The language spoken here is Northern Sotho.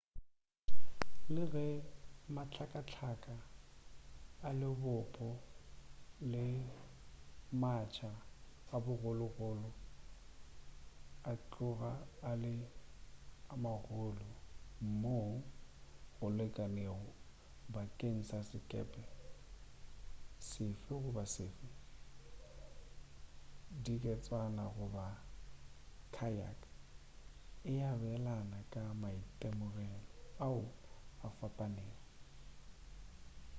le ge mahlakahlaka a lebopo le matsha a magologolo a tloga a le a magolo mo go lekanego bakeng sa sekepe sefe goba sefe diketswana goba kayak e abelana ka maitemogelo ao a fapanego